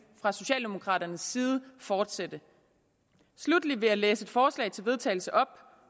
fra socialdemokraternes side fortsætte sluttelig vil jeg læse et forslag til vedtagelse